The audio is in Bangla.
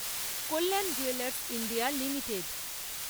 Kalyan jewellers India limited